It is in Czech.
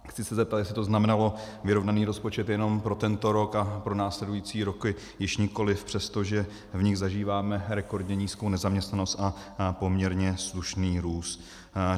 Chci se zeptat, jestli to znamenalo vyrovnaný rozpočet jenom pro tento rok a pro následující roky již nikoliv, přestože v nich zažíváme rekordně nízkou nezaměstnanost a poměrně slušný růst.